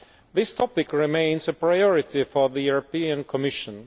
This topic remains a priority for the European Commission.